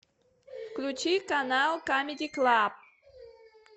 включи канал камеди клаб